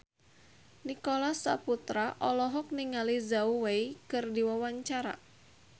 Nicholas Saputra olohok ningali Zhao Wei keur diwawancara